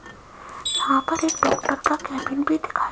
यहां पर एक डॉक्टर का केबिन भी दिखाई--